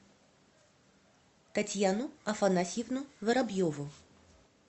татьяну афанасьевну воробьеву